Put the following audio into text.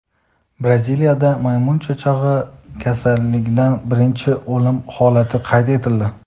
Braziliyada maymun chechagi kasalligidan birinchi o‘lim holati qayd etildi.